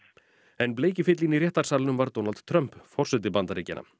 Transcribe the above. en bleiki fíllinn í réttarsalnum var Donald Trump forseti Bandaríkjanna